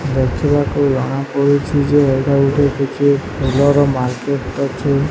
ଦେଖିବାକୁ ଜଣା ପଡ଼ୁଛି ଯେ ଏଇଟା ଗୋଟେ କିଛି ଫୁଲର ମାର୍କେଟ ଅଛି।